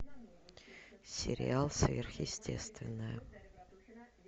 сериал сверхъестественное